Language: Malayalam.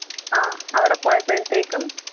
അഹ് അവിടെ പോയപോലെത്തെക്കും